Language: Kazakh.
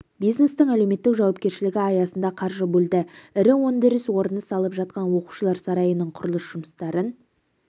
бизнестің әлеуметтік жауапкершілігі аясында қаржы бөлді ірі өндіріс орны салып жатқан оқушылар сарайының құрылыс жұмыстарын